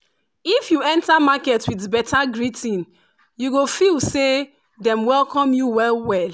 if you enter market with beta greeting you go feel say dem welcome you well well